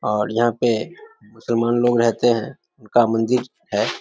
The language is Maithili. और यहां पे मुसलमान लोग रहते हैं उनका मंदिर है।